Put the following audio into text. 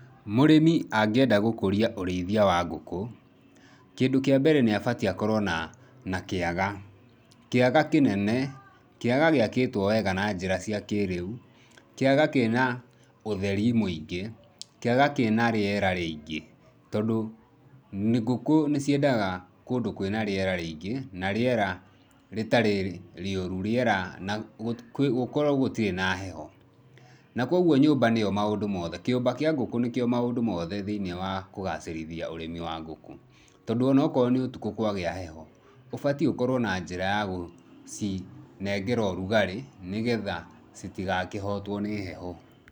Mũrĩmi angĩenda gũkũria ũrĩithia wa ngũkũ, kĩndũ kĩa mbere nĩ abatiĩ akorwo na kĩaga. Kĩaga kĩnene, kĩaga gĩakĩtwo wega na njĩra cia kĩrĩu, kĩaga kĩna ũtheri mũingĩ, kĩaga kĩna rĩera rĩingĩ tondũ ngũkũ nĩ ciendaga kũndũ kwĩna rĩera rĩingĩ na rĩera rĩtarĩ rĩuru, rĩera na, gũkorwo gũtirĩ na heho. Na kwoguo nyũmba nĩ yo maũndũ mothe. Kĩũmba kĩa ngũkũ nĩkĩo maũndũ mothe thĩiniĩ wa kũgacĩrithia ũrĩmi wa ngũkũ. Tondũ o na okorwo nĩ ũtukũ kwa gĩa heho, ũbatiĩ ũkorwo na njĩra ya gũcinengera ũrugarĩ nĩgetha citigakĩhotwo nĩ heho.